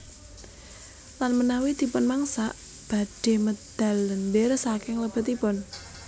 Lan menawi dipun mangsak badhe medal lendir saking lebetipun